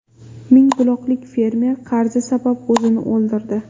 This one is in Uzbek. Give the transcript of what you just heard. Mingbuloqlik fermer qarzi sabab o‘zini o‘ldirdi.